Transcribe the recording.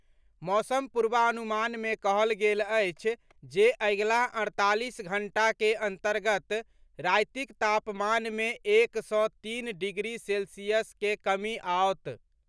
मौसम पूर्वानुमान मे कहल गेल अछि जे अगिला अड़तालीस घंटा के अन्तर्गत रातिक तापमान मे एक सँ तीन डिग्री सेल्सियस के कमी आओत।